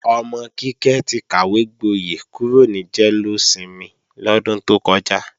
Ọmọ Kíkẹ́ ti kàwégboyẹ̀ kúrò ní jẹ́lósinmi lọ́dún tó kọjá.